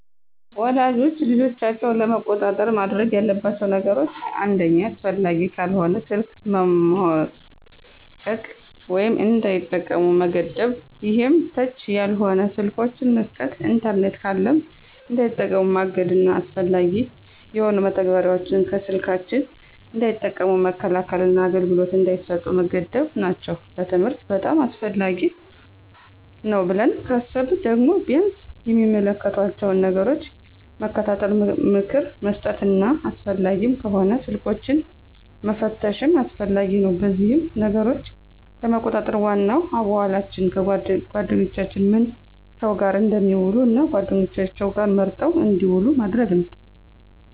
ወላጆች ልጆቻቸውን ለመቆጣጠር ማድረግ ያለባቸው ነገሮች አንደኛ አስፈላጊ ካልሆነ ስልክ መሞጨቅ ወይም እንዳይጠቀሙ መገደብ ይሄም ተች ያልሆኑ ስልኮችን መስጠት። ኢንተርኔት ካለም እንዳይጠቀሙ ማገድና አላስፈላጊ የሆኑ መተግበሪያዎችን ከስልካቸው እንዳይጠቀሙ መከልከልና አገልግሎት እንዳይሰጡ መገደብ ናቸው። ለትምህርት በጣም አስፈላጊ ነው ብለው ካሰቡ ደግሞ ቢያንስ የሚመለከቷቸውን ነገሮች መከታተል፣ ምክር መስጠትና አስፈላጊም ከሆነ ስልኮችንን መፈተሽም አስፈላጊ ነው። በዚህም ነገሮችን ለመቆጣጠር ዋናው አዋዋላቸውን፣ ጓደኛቸውንና ምን ሰው ጋር እንደሚውሉ እና ጓደኛቸውም መርጠው እንድውሉ ማድረግ ነው።